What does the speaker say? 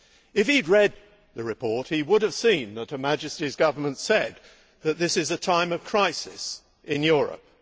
If he had read the report, he would have seen that Her Majesty's Government said that this is a time of crisis in Europe.